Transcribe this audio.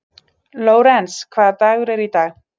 Lórens, hvaða dagur er í dag?